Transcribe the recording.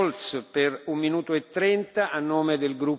Herr Präsident, liebe Kolleginnen und Kollegen!